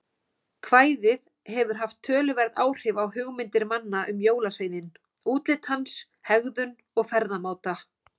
Kvæðið hefur haft töluverð áhrif á hugmyndir manna um jólasveininn, útlit hans, hegðun og ferðamáta.